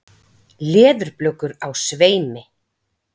Leðurblökur á sveimi.